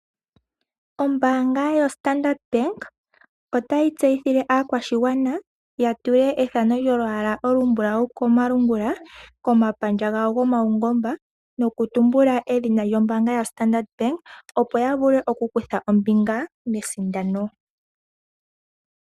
Ombaanga yo Standard Bank otayi tseyithile aakwashigwana ya tule ethano lyolwaala olumbulawu komalungula komapandja gawo yopaungomba noku tumbula edhina lyo mbaanga yaStandard Bank opo ya vule okukutha ombinga mesindano.